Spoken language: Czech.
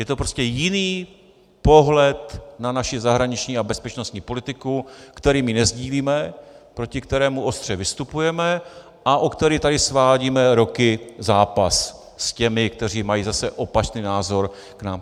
Je to prostě jiný pohled na naši zahraniční a bezpečnostní politiku, který my nesdílíme, proti kterému ostře vystupujeme a o který tady svádíme roky zápas s těmi, kteří mají zase opačný názor k nám.